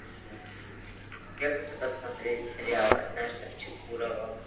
я хочу посмотреть сериал однажды в чукурова